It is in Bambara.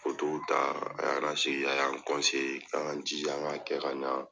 ta a y'an lasigi, a y' an k'an ka jija k'an ka kɛ k'a ɲa